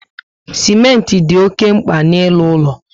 Simenti dị oké mkpa n'ilu ulo